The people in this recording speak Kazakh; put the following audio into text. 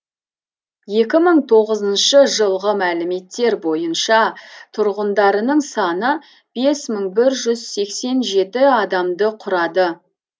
екі мың тоғызыншы жылғы мәліметтер бойынша тұрғындарының саны бес мың бір жүз сексен жеті адамды құрады